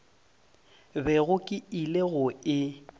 bego ke ile go e